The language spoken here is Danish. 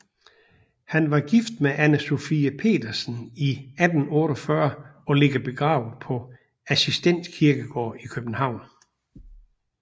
Han var gift med Ane Sophie Pedersen i 1848 og ligger begravet på Assistens Kirkegård i København